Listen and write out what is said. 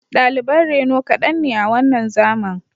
Daliban reno kaɗan ne a wannan zaman